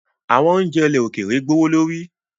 Awọn ounjẹ ilẹ̀ òkèèrè gbowolori